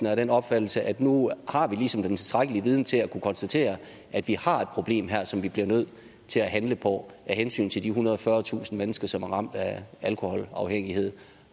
er af den opfattelse at nu har vi ligesom den tilstrækkelige viden til at kunne konstatere at vi har et problem her som vi bliver nødt til at handle på af hensyn til de ethundrede og fyrretusind mennesker som er ramt af alkoholafhængighed